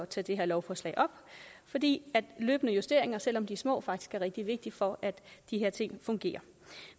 tager det her lovforslag op fordi løbende justeringer selv om de er små faktisk er rigtig vigtige for at de her ting fungerer